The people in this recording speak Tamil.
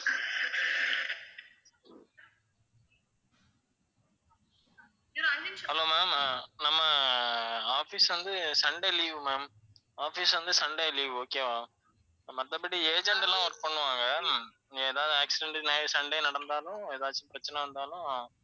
hello ma'am ஆஹ் நம்ம office வந்து sunday leave ma'am office வந்து sunday leave okay வா. மத்தபடி agent எல்லாம் work பண்ணுவாங்க. ஏதாவது accident sunday நடந்தாலும், ஏதாவது பிரச்சனை வந்தாலும்,